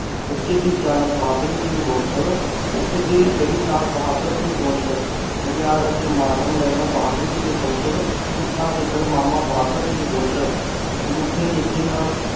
ਬੱਚੇ ਦੀ ਸਿਆਣਪ ਬਹਾਦਰ ਸਿੰਘ ਗੋਸਲ ਊਠ ਦੀ ਗਲੀ ਟਲ ਬਹਾਦਰ ਸਿੰਘ ਗੋਸਲ ਬਘਿਆੜ ਤੇ ਮੋਡਰਨ ਲੇਲਾ ਬਹਾਦਰ ਸਿੰਘ ਗੋਸਲ ਝੂਠਾ ਗਿੱਦੜ ਮਾਮਾ ਬਹਾਦਰ ਸਿੰਘ ਗੋਸਲ ਅੰਗੂਠੇ ਮਿੱਠੇ ਨਾਲ